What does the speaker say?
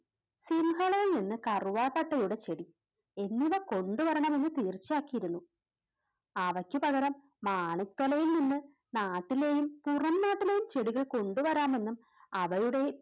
സിംഹളയിൽ നിന്ന് കറുവപ്പട്ടയുടെ ചെടി എങ്ങനെ കൊണ്ടുവരണമെന്ന് തീർച്ചയാക്കിയിരുന്നു അവയ്ക്കുപകരം മാണിത്തലയിൽ നിന്ന് നാട്ടിലെയും പുറംനാട്ടിലെയും ചെടികൾ കൊണ്ടുവരാമെന്നും അവയുടെ